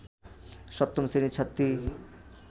সপ্তম শ্রেণীর ছাত্রী